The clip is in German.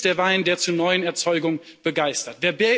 Sie ist der Wein, der zur neuen Erzeugung begeistert.